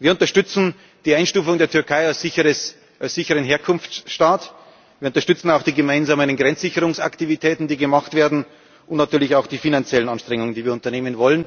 Wir unterstützen die Einstufung der Türkei als sicheren Herkunftsstaat, wir unterstützen auch die gemeinsamen Grenzsicherungsaktivitäten, die gemacht werden, und natürlich auch die finanziellen Anstrengungen, die wir unternehmen wollen.